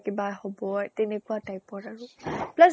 কিবা হব তেনেকুৱা type ৰ আৰু। plus